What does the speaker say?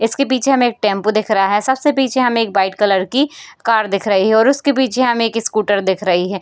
इसके पीछे हमें एक टेम्पो दिख रहा है। सबसे पीछे हमें एक वाइट कलर की कार दिख रही है। और उसके पिच्छे हमें एक स्कूटर दिख रही है।